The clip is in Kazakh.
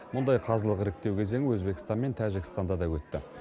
мұндай қазылық іріктеу кезеңі өзбекстан мен тәжікстанда да өтті